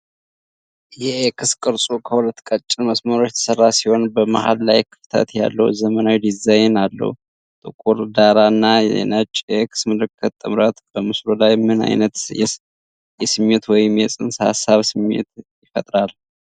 የ"X" ቅርጹ ከሁለት ቀጭን መስመሮች የተሠራ ሲሆን፣ በመሃል ላይ ክፍተት ያለው ዘመናዊ ዲዛይን አለው። ጥቁር ዳራ እና ነጭ የ"X" ምልክት ጥምረት በምስሉ ላይ ምን አይነት የስሜት ወይም የፅንሰ-ሀሳብ ስሜት ይፈጥራል?